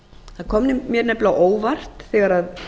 það kom mér nefnilega á óvart þegar